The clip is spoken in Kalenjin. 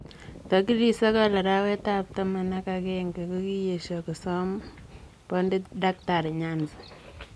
Tarikit sogol araweet ab taman ak angenge kokiyesio kosoom bondit daktari Nyanzi.